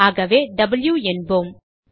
ஆகவே வாவ் என்போம்